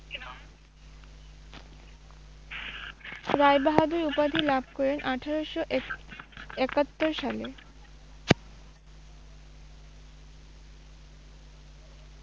রায়বাহাদুর উপাধি লাভ করেন আঠেরোশো এক- একাত্তর সালে।